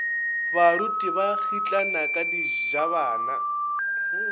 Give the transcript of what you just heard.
baruti ba kgitlana ka dijabana